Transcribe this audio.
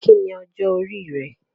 Kí ni ọjọ́ orí rẹ?